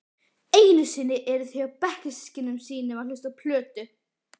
Einusinni eru þau hjá bekkjarsystkinum sínum að hlusta á plötur.